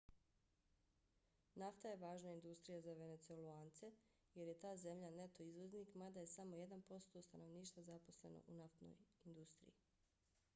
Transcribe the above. nafta je važna industrija za venecuelance jer je ta zemlja neto izvoznik mada je samo jedan posto stanovništva zaposleno u naftnoj industriji